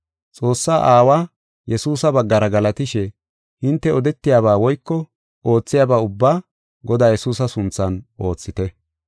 Xoossaa Aawa Yesuusa baggara galatishe hinte odetiyaba woyko oothiyaba ubbaa Godaa Yesuusa sunthan oothite.